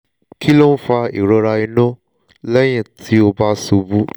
kí ló ń fa ìrora inú lẹ́yìn tí ó bá ṣubú?